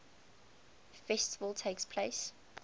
festival takes place